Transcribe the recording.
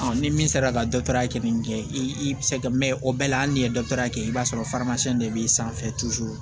ni min sera ka dɔ ta kɛ nin kɛ i bi se ka mɛn o bɛɛ la hali n'i ye dɔtɔri ya kɛ i b'a sɔrɔ de b'i sanfɛ